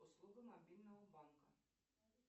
услуга мобильного банка